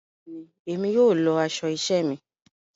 Béèni, Èmi yóò lọ aṣọ iṣẹ mí